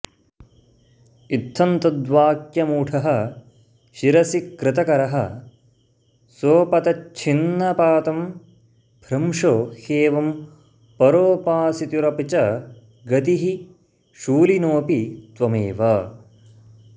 इत्थं त्वद्वाक्यमूढः शिरसि कृतकरः सोऽपतच्छिन्नपातं भ्रंशो ह्येवं परोपासितुरपि च गतिः शूलिनोऽपि त्वमेव